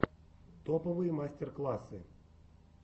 топовые мастер классы